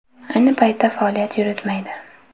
Ayni paytda faoliyat yuritmaydi.